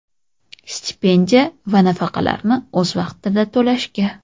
stipendiya va nafaqalarni o‘z vaqtida to‘lashga;.